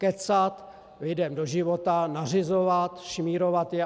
Kecat lidem do života, nařizovat, šmírovat je.